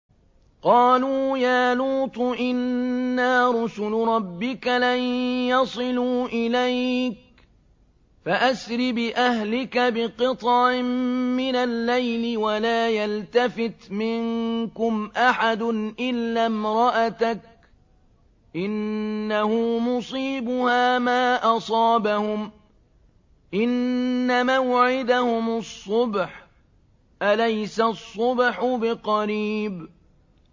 قَالُوا يَا لُوطُ إِنَّا رُسُلُ رَبِّكَ لَن يَصِلُوا إِلَيْكَ ۖ فَأَسْرِ بِأَهْلِكَ بِقِطْعٍ مِّنَ اللَّيْلِ وَلَا يَلْتَفِتْ مِنكُمْ أَحَدٌ إِلَّا امْرَأَتَكَ ۖ إِنَّهُ مُصِيبُهَا مَا أَصَابَهُمْ ۚ إِنَّ مَوْعِدَهُمُ الصُّبْحُ ۚ أَلَيْسَ الصُّبْحُ بِقَرِيبٍ